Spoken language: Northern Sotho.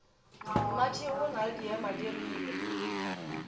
mmatšhego o na le diemadirile